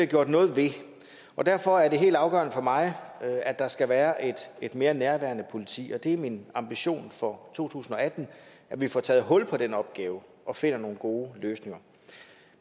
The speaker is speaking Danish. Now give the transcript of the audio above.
gjort noget ved og derfor er det helt afgørende for mig at der skal være et mere nærværende politi og det er min ambition for to tusind og atten at vi får taget hul på den opgave og finder nogle gode løsninger